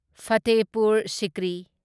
Fatehpur Sikri